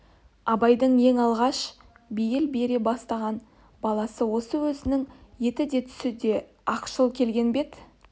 абайдың ең алғаш бейіл бере бастаған баласы осы өзінің еті де түсі де ақшыл келген бет